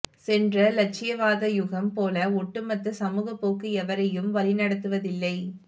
சென்ற இலட்சியவாத யுகம் போல ஒட்டுமொத்த சமூகப்போக்கு எவரையும் வழிநடத்துவதில்லை